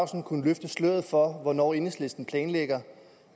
kunne løfte sløret for hvornår enhedslisten planlægger